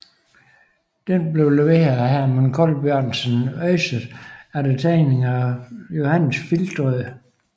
Denne blev leveret af Herman Colbjørnsen Øyset efter tegning af Johannes Flintoe